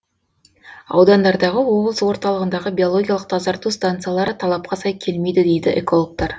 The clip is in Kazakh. аудандардағы облыс орталығындағы биологиялық тазарту станциялары талапқа сай келмейді дейді экологтар